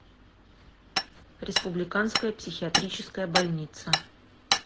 республиканская психиатрическая больница